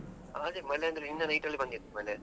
ಹಾ ಅದೇ ಮಳೆ ಅಂದ್ರೆ ನಿನ್ನೆ night ಅಲ್ಲಿ ಬಂದಿತ್ತು ಮಳೆ.